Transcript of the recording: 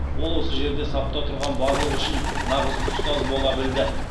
ол осы жерде сапта тұрған барлығы үшін нағыз ұстаз бола білді